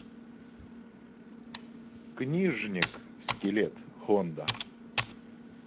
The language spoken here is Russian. книжник скелет хонда